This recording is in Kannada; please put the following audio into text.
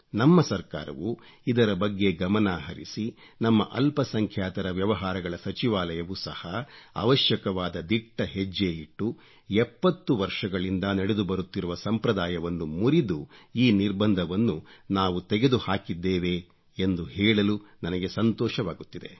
ನಮ್ಮ ಸರಕಾರವು ಇದರ ಬಗ್ಗೆ ಗಮನ ಹರಿಸಿ ನಮ್ಮ ಅಲ್ಪಸಂಖ್ಯಾತರ ವ್ಯವಹಾರಗಳ ಸಚಿವಾಲಯವು ಸಹ ಅವಶ್ಯಕವಾದ ದಿಟ್ಟಹೆಜ್ಜೆ ಇಟ್ಟು 70 ವರ್ಷಗಳಿಂದ ನಡೆದುಬರುತ್ತಿರುವ ಸಂಪ್ರದಾಯವನ್ನು ಮುರಿದು ಈ ನಿರ್ಬಂಧವನ್ನು ನಾವು ತೆಗೆದುಹಾಕಿದ್ದೇವೆ ಎಂದು ಹೇಳಲು ನನಗೆ ಸಂತೋಷವಾಗುತ್ತಿದೆ